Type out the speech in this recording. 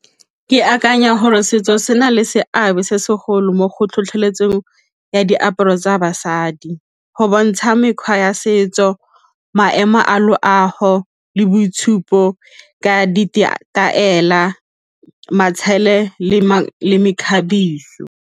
Ke akanya gore setso se na le seabe se segolo mo go tlhotlheletseng ya diaparo tsa basadi go bontsha mekgwa ya setso, maemo a loago le boitshupo ka matshelo le mekgabiso.